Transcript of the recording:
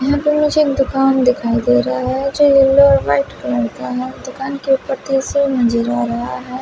यहां पे मुझे दुकान दिखाई दे रहा हैं जो येलो और व्हाइट कलर का है दुकान के ऊपर त्रिशूल नजर आ रहा है।